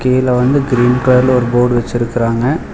கீழ வந்து கிரீன் கலர்ல ஒரு போர்டு வச்சிருக்கிறாங்க.